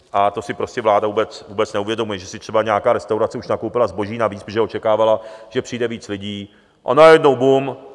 A to si prostě vláda vůbec neuvědomuje, že si třeba nějaká restaurace už nakoupila zboží navíc, protože očekávala, že přijde víc lidí, a najednou bum.